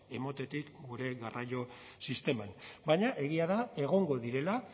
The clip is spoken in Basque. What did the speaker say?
ematetik gure garraio sisteman baina egia da egongo direla